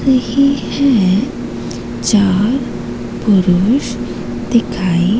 रहे हैं चार पुरुष दिखाई--